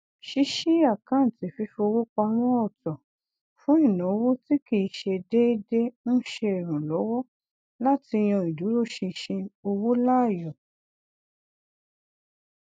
ṣíṣí àkántì fífowó pamọ ọtọ fún ináwó tí kìí ṣe deede ń ṣe ìrànlọwọ láti yan ìdúróṣinṣin owó laàyò